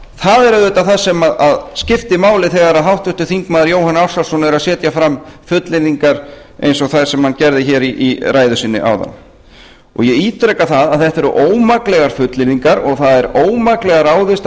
það er auðvitað það sem skiptir máli þegar háttvirtur þingmaður jóhann ársælsson er að setja fram fullyrðingar eins og þær sem hann gerði hér í ræðu sinni áðan ég ítreka að þetta eru ómaklegar fullyrðingar og það er ómaklega ráðist að